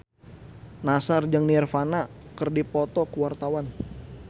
Nassar jeung Nirvana keur dipoto ku wartawan